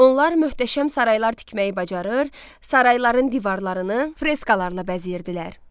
Onlar möhtəşəm saraylar tikməyi bacarır, sarayların divarlarını freskalarla bəzəyirdilər.